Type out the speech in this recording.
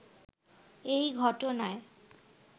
এই ঘটনায়